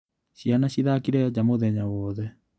Ciana cithakire nja mũthenya wothe.